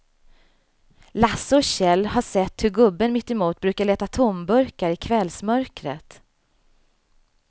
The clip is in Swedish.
Lasse och Kjell har sett hur gubben mittemot brukar leta tomburkar i kvällsmörkret.